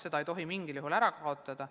Seda ei tohi mingil juhul ära kaotada.